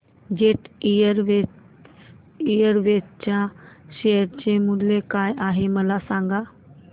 jet Airways च्या share चे मूल्य काय आहे मला सांगा